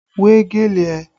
Wé gèlè ẹ!